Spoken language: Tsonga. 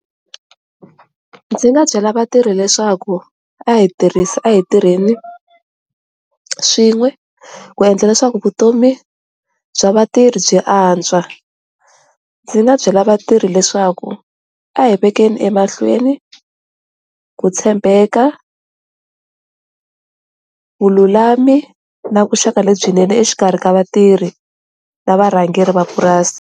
Ndzi nga byela vatirhi leswaku a hi tirhisi a hi tirheni swin'we ku endla leswaku vutomi bya vatirhi byi antswa ndzi nga byela vatirhi leswaku a hi vekeni emahlweni hi tshembeka vululami na vuxaka lebyinene exikarhi ka vatirhi na varhangeri va purasi.